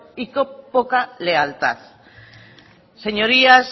y qué poca lealtad señorías